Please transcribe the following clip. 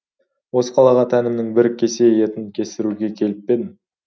осы қалаға тәнімнің бір кесе етін кестіруге келіп пе едім